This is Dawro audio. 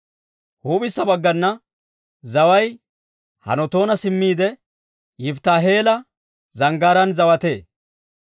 Huup'issa baggana zaway Hanatoona simmiide, Yifittaahi'eela zanggaaraan zawatee.